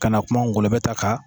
Kana kuma ngɔlɔbɛ ta kan.